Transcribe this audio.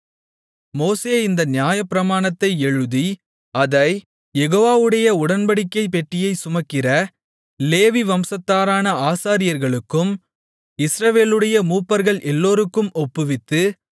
மோசே இந்த நியாயப்பிரமாணத்தை எழுதி அதைக் யெகோவாவுடைய உடன்படிக்கைப் பெட்டியைச் சுமக்கிற லேவி வம்சத்தாரான ஆசாரியர்களுக்கும் இஸ்ரவேலுடைய மூப்பர்கள் எல்லோருக்கும் ஒப்புவித்து